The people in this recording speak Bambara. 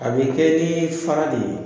A be kɛ ni fara de ye.